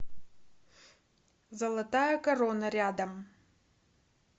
золотая корона рядом